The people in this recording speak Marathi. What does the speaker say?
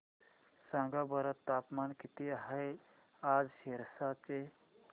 सांगा बरं तापमान किती आहे आज सिरसा चे